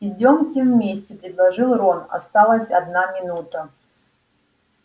идёмте вместе предложил рон осталась одна минута